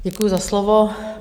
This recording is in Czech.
Děkuji za slovo.